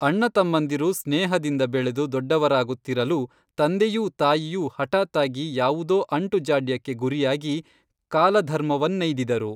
ಅಣ್ಣತಮ್ಮಂದಿರು ಸ್ನೇಹದಿಂದ ಬೆಳೆದು ದೊಡ್ಡವರಾಗುತ್ತಿರಲು ತಂದೆಯೂ ತಾಯಿಯೂ ಹಠಾತ್ತಾಗಿ ಯಾವುದೋ ಅಂಟು ಜಾಡ್ಯಕ್ಕೆ ಗುರಿಯಾಗಿ ಕಾಲಧರ್ಮವನ್ನೈದಿದರು